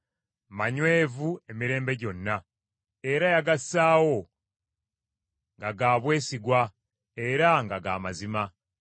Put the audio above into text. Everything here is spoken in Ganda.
manywevu emirembe gyonna; era yagassaawo nga ga bwesigwa era nga ga mazima.